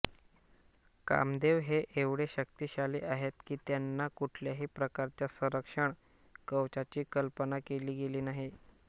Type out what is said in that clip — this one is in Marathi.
कामदेव हे एवढे शक्तिशाली आहेत की त्यांना कुठल्याही प्रकारच्या संरक्षण कवचाची कल्पना केली गेली नाही